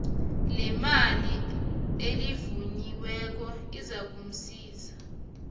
lemali elivunyiweko ozakusizwa